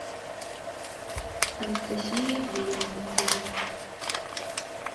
анастасия ивлеева видео